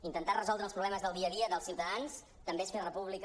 intentar resoldre els problemes del dia a dia dels ciutadans també és fer república